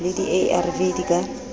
le di arv di ka